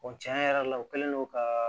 tiɲɛ yɛrɛ la o kɛlen don ka